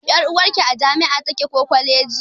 Ƴar'uwarki a jami'a take ko kwaleji.